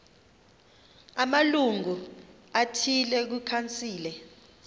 amalungu athile kwikhansile